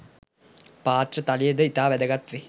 පාත්‍ර තලිය ද ඉතා වැදගත් වේ.